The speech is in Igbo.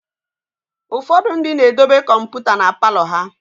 ụfọdụ ndị na-edobe kọmpụta na Palọ ha